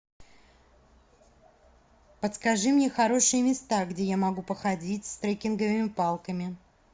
подскажи мне хорошие места где я могу походить с трекинговыми палками